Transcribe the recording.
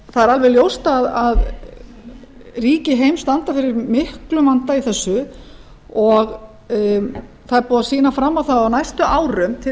það er alveg ljóst að ríki heims standa fyrir miklum vanda í þessu og það er búið að sýna fram á það að á næstu árum til